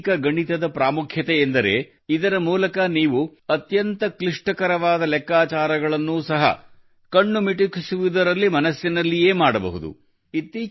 ವೈದಿಕ ಗಣಿತದ ಪ್ರಾಮುಖ್ಯ ಎಂದರೆ ಇದರ ಮೂಲಕ ನೀವು ಅತ್ಯಂತ ಕಿಷ್ಟಕರವಾದ ಲೆಕ್ಕಾಚಾರಗಳನ್ನು ಸಹ ಕಣ್ಣು ಮಿಟುಕಿಸುವುದರಲ್ಲಿ ಮನಸ್ಸಿನಲ್ಲಿಯೇ ಮಾಡಬಹುದು